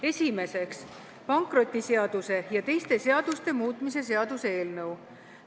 Esiteks, pankrotiseaduse ja teiste seaduste muutmise seaduse eelnõu.